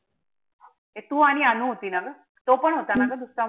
ए तू आणि अनु होती ना? तो पण होता ना दुसरा मुलगा?